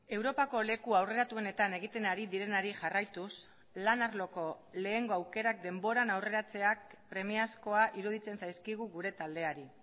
europako leku aurreratuenetan egiten ari direnari jarraituz lan arloko lehengo aukerak denboran aurreratzeak premiazkoa iruditzen zaizkigu gure taldeari